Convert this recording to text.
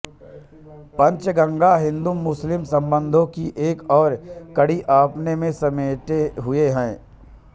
पंचगंगा हिंदूमुस्लिम संबंधों की एक और कड़ी अपने में समेटे हुए है